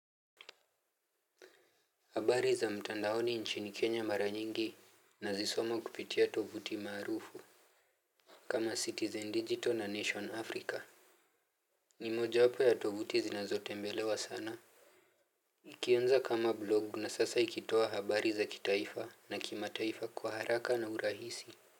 Habari za mtandaoni nchini Kenya mara nyingi nazisoma kupitia tovuti marufu kama Citizen Digital na Nation Africa. Ni moja wapo ya tovuti zinazotembelewa sana. Ikianza kama blogu na sasa ikitoa habari za kitaifa na kimataifa kwa haraka na urahisi.